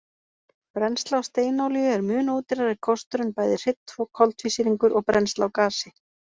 Brennsla á steinolíu er mun ódýrari kostur en bæði hreinn koltvísýringur og brennsla á gasi.